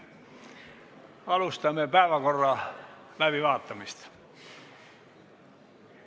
Alustame päevakorra läbivaatamist.